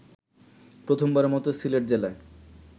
প্রথমবারের মত সিলেট জেলায়